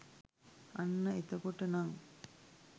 අන්න එතකොට නං